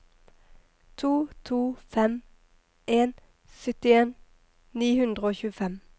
to to fem en syttien ni hundre og tjuefem